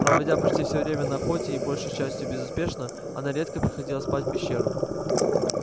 проводя почти все время на охоте и большей частью безуспешно она редко приходила спать в пещеру